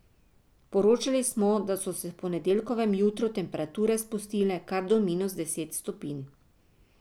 Poročali smo, da so se v ponedeljkovem jutru temperature spustile kar do minus deset stopinj.